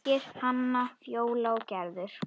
Birgir, Hanna, Fjóla og Gerður.